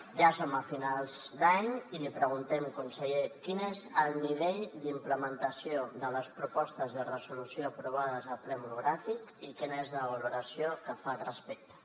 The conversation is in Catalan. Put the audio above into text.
ja som a finals d’any i li preguntem conseller quin és el nivell d’implementació de les propostes de resolució aprovades al ple monogràfic i quina és la valoració que fa al respecte